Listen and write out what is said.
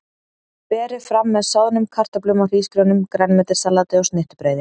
Berið fram með soðnum kartöflum eða hrísgrjónum, grænmetissalati og snittubrauði.